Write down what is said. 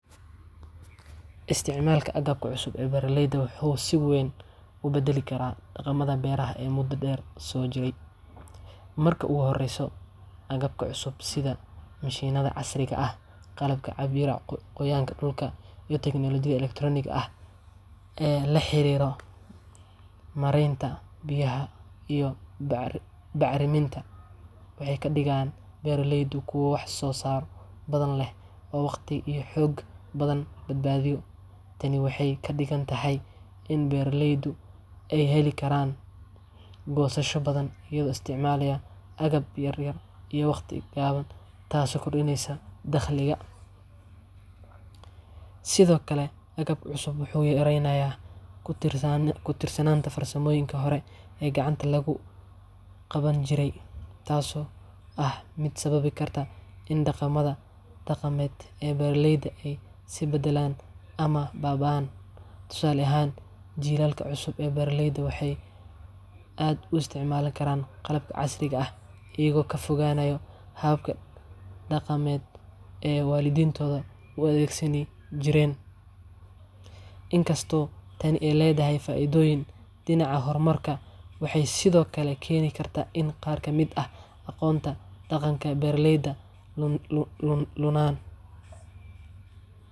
Isticmaalka agabka cusub ee beeralayda wuxuu si weyn u beddeli karaa dhaqamada beeraha ee muddo dheer soo jiray. Marka ugu horraysa, agabkan cusub sida mishiinnada casriga ah, qalabka cabbira qoyaanka dhulka, iyo teknooloojiyada elektaroonigga ah ee la xiriira maaraynta biyaha iyo bacriminta, waxay ka dhigayaan beeraleydu kuwo wax-soo-saar badan leh oo waqti iyo xoog badan badbaadiya. Tani waxay ka dhigan tahay in beeraleydu ay heli karaan goosasho badan iyagoo isticmaalaya agab yar iyo waqti gaaban, taasoo kordhinaysa dakhliga. Sidoo kale, agabka cusub wuxuu yaraynayaa ku tiirsanaanta farsamooyinkii hore ee gacanta lagu qaban jiray, taasoo ah mid sababi karta in dhaqamada dhaqameed ee beeraleyda ay is beddelaan ama baaba’aan. Tusaale ahaan, jiilalka cusub ee beeraleyda waxay aad u isticmaali karaan qalabka casriga ah, iyagoo ka fogaanaya hababkii dhaqameed ee waalidiintood u adeegsan jireen. Inkastoo tani ay leedahay faa’iidooyin dhinaca horumarka, waxay sidoo kale keeni kartaa in qaar ka mid ah aqoonta dhaqanka beeraleyda luntaan.